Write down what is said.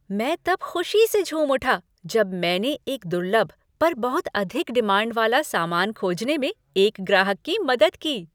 मैं तब खुशी से झूम उठा जब मैंने एक दुर्लभ पर बहुत अधिक डिमांड वाला सामान खोजने में एक ग्राहक की मदद की।